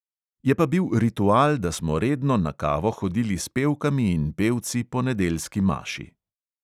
Je pa bil ritual, da smo redno na kavo hodili s pevkami in pevci po nedeljski maši.